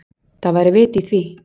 Það væri vit í því.